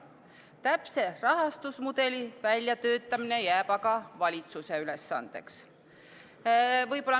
Täpse rahastusmudeli väljatöötamine jääb aga valitsuse ülesandeks.